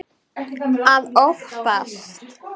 Að óttast!